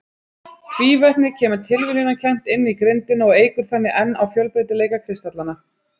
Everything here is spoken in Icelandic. Tvívetnið kemur tilviljunarkennt inn í grindina og eykur þannig enn á fjölbreytileika kristallanna.